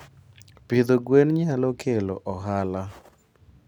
Pidho gwen nyalo kelo ohala.